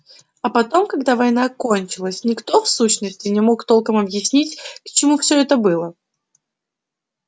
а потом когда война кончалась никто в сущности не мог толком объяснить к чему всё это было